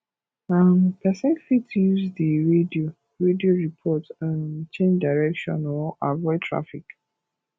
um person fit use di radio radio report um change direction or avoid traffic